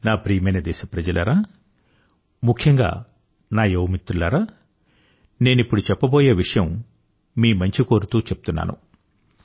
నా ప్రియమైన దేశప్రజలారా ముఖ్యంగా నా యువ మిత్రులారా నేనిప్పుడు చెప్పబోయే విషయం మీ మంచి కోరుతూ చెప్తున్నాను